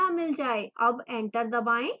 अब enter दबाएं